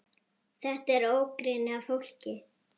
Þetta er ógrynni af fólki.